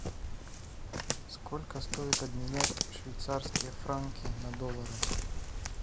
сколько стоит обменять швейцарские франки на доллары